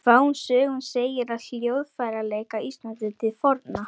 Fáum sögum segir af hljóðfæraleik á Íslandi til forna.